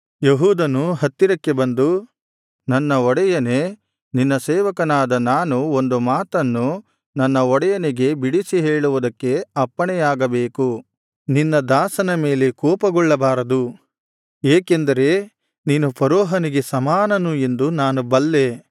ಯೆಹೂದನು ಹತ್ತಿರಕ್ಕೆ ಬಂದು ನನ್ನ ಒಡೆಯನೇ ನಿನ್ನ ಸೇವಕನಾದ ನಾನು ಒಂದು ಮಾತನ್ನು ನನ್ನ ಒಡೆಯನಿಗೆ ಬಿಡಿಸಿ ಹೇಳುವುದಕ್ಕೆ ಅಪ್ಪಣೆಯಾಗಬೇಕು ನಿನ್ನ ದಾಸನ ಮೇಲೆ ಕೋಪಗೊಳ್ಳಬಾರದು ಏಕೆಂದರೆ ನೀನು ಫರೋಹನಿಗೆ ಸಮಾನನು ಎಂದು ನಾನು ಬಲ್ಲೇ